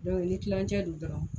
ni kilancɛ do dɔrɔn